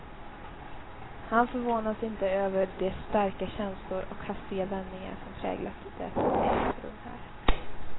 Han förvånas inte över de starka känslor och hastiga vändningar som präglat det som ägt rum här.